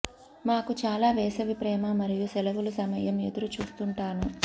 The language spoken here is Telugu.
మాకు చాలా వేసవి ప్రేమ మరియు సెలవులు సమయం ఎదురు చూస్తుంటాను